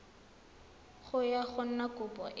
ga go na kopo e